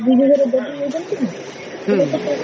ହମ୍